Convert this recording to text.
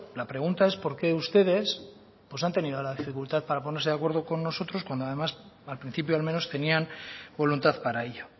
la pregunta es por qué ustedes han tenido la dificultad para ponerse de acuerdo con nosotros cuando además al principio al menos tenían voluntad para ello